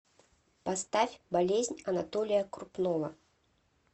поставь болезнь анатолия крупнова